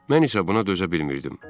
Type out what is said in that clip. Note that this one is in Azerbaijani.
Mən isə buna dözə bilmirdim.